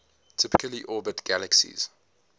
typically orbit galaxies